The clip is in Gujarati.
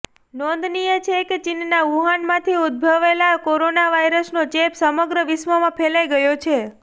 નોંધનીય છે કે ચીનના વુહાનમાંથી ઉદ્દભવેલા કોરોના વાયરસનો ચેપ સમગ્ર વિશ્વમાં ફેલાઈ ગયો છે